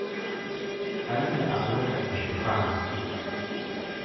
Agira alo ashuko aang'